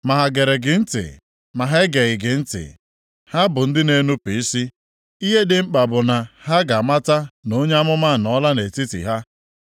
Ma ha gere gị ntị, ma ha egeghị gị ntị (ha bụ ndị na-enupu isi), ihe dị mkpa bụ na ha ga-amata na onye amụma anọọla nʼetiti ha.